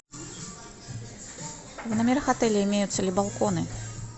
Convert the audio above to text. в номерах отеля имеются ли балконы